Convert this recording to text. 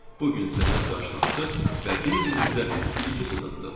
Bu gün səhər qarşılaşdıq və bir-birimizə bir-iki söz atdıq.